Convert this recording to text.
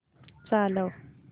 चालव